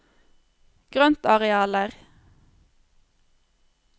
grøntarealer